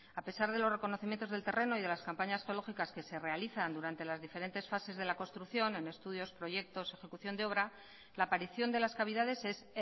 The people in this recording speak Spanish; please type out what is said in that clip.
a pesar de los reconocimientos del terreno y de las campañas geológicas que se realizan durante las diferentes fases de la construcción en estudios proyectos ejecución de obra la aparición de las cavidades es